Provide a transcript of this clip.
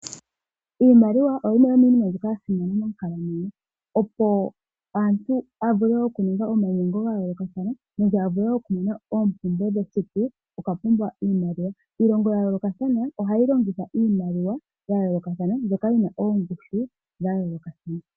Iimaliwa oyo yimwe yomiinima mbyoka ya simana monkalamwenyo. Opo omuntu a vule okuninga omainyengo ga yoolokathana nenge a vule okumona oompumbwe dhesiku okwa pumbwa iimaliwa. Iilongo ya yoolokathana ohayi longitha iimaliwa ya yoolokathana mbyoka yi na ongushu ya yoolokathana.